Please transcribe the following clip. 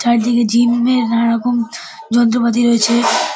চারাদিকে gym -এর নানারকম যন্ত্রপাতি রয়েছে ।